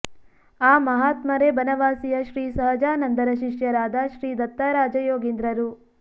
ಆ ಮಹಾತ್ಮರೇ ಬನವಾಸಿಯ ಶ್ರೀ ಸಹಜಾನಂದರ ಶಿಶ್ಯರಾದ ಶ್ರೀ ದತ್ತರಾಜ ಯೋಗೀಂದ್ರರು